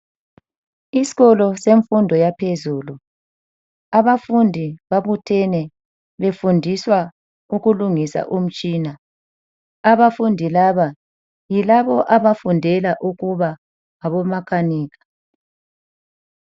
Isikolo semfundo yaphezulu, abafundi babuthene befundiswa ukulungisa umtshina, abafundi laba yikabo abafundela ukuba ngabo makanika.